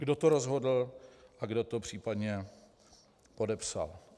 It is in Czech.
Kdo to rozhodl a kdo to případně podepsal.